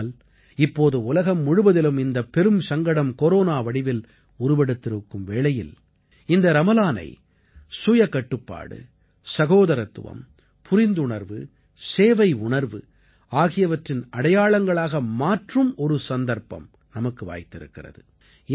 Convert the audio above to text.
ஆனால் இப்போது உலகம் முழுவதிலும் இந்தப் பெரும் சங்கடம் கொரோனா வடிவில் உருவெடுத்திருக்கும் வேளையில் இந்த ரமலானை சுயகட்டுப்பாடு சகோதரத்துவம் புரிந்துணர்வு சேவை உணர்வு ஆகியவற்றின் அடையாளங்களாக மாற்றும் ஒரு சந்தர்ப்பம் நமக்கு வாய்த்திருக்கிறது